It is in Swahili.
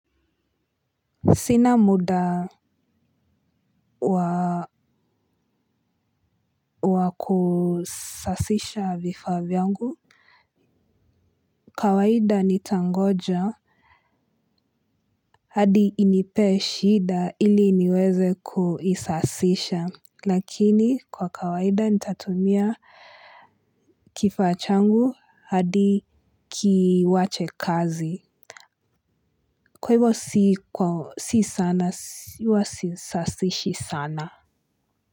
Sina muda wa wakusasisha vifaa vyangu kawaida nitangoja hadi inipee shida iliniweze kuisasisha lakini kwa kawaida nita tumia. Kifaa changu hadi kiwache kazi. Kwa hivyo si sana huwa sisasishi sana.